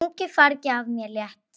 Þungu fargi af mér létt.